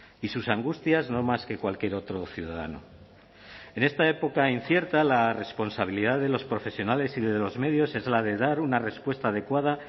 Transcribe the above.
y sus angustias no más que cualquier otro ciudadano en esta época incierta la responsabilidad de los profesionales y de los medios es la de dar una respuesta adecuada